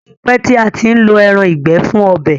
O tí pé tí a ǹ ló èràn ìgbẹ fun ọbẹ.